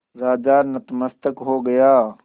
राजा नतमस्तक हो गया